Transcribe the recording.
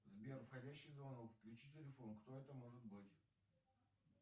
сбер входящий звонок включи телефон кто это может быть